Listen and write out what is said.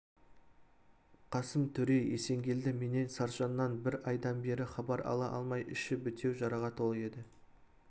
қасым төре есенгелді менен саржаннан бір айдан бері хабар ала алмай іші бітеу жараға толы еді